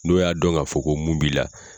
N'o y'a dɔn ka fɔ ko mun b'i la